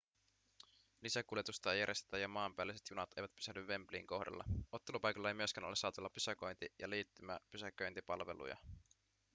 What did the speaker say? lisäkuljetusta ei järjestetä ja maanpäälliset junat eivät pysähdy wembleyn kohdalla ottelupaikalla ei myöskään ole saatavilla pysäköinti- ja liittymäpysäköintipalveluja